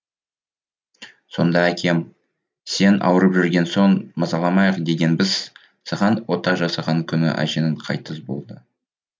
сонда әкем сен ауырып жүрген соң мазаламайық дегенбіз саған ота жасаған күні әжең қайтыс болды